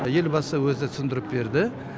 елбасы өзі түсіндіріп берді